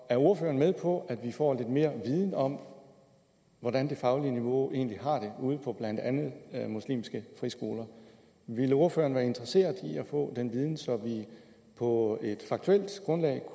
er ordføreren med på at vi får lidt mere viden om hvordan det faglige niveau egentlig har det ude på blandt andet muslimske friskoler ville ordføreren være interesseret i at få den viden så vi på et faktuelt grundlag